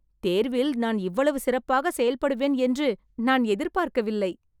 தேர்வில் நான் இவ்வளவு சிறப்பாகச் செயல்படுவேன் என்று நான் எதிர்பார்க்கவில்லை